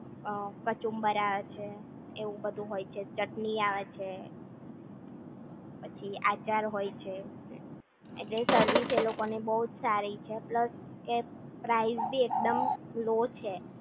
કચુંબર આવે છે એવું બધું હોય છે ચટણી આવે છે પછી આચાર હોય છે એટલે સર્વિસ એ લોકોની બહુ સારી છે પ્લસ પ્રાઈઝ બી એકદમ લો છે